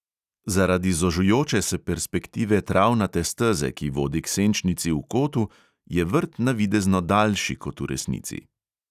Zaradi zožujoče se perspektive travnate steze, ki vodi k senčnici v kotu, je vrt navidezno daljši kot v resnici.